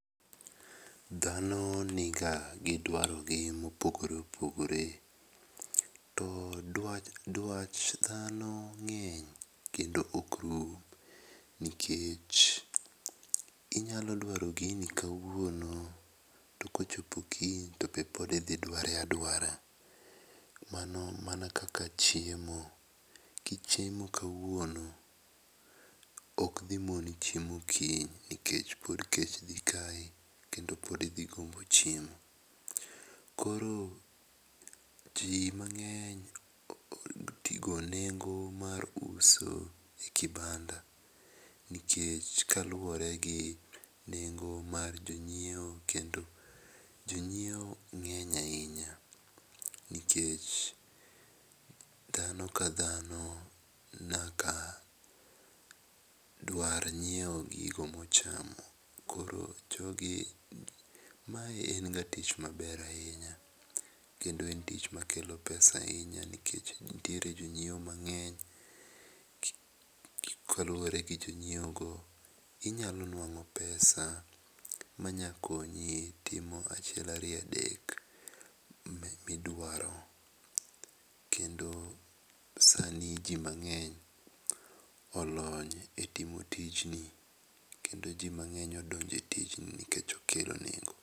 Dhano ni ga gi dwaro gi mopogore opogore. Dwach dwach dhano ng'eny kendo ok rum nikech inyalo dwaro gini kawuono to kochopo kiny to be pod idhi dware adware mano kaka chiemo ,kichiemo kawuono ok dhi muoni chiemo kiny nikech pod kech dhi kayo kendo pod idhi gombo chiemo kor ji mangeny o nengo mar uso e kibanda nikech kaluore gi nengo mar jo ng'iewo kendo jo ng'iewo ng'eny ainya nikech dhano ka dhano nyaka dwar ngiewo gigo mo chamo. Koro jogi mae en ga tich ma ber ainy kendo en tich ma kelo pesa ainya nikech nitiere jo ng'iewo mang'eny kaluore gi jo ngiewo inyalo dwaro pesa ma nya konyi timo achiel, ariyo adek mi dwaro kendo sani ji mangeny olony e timo tijni kendo ji ma ng'eny odonjo e tijni nikech okelo nengo.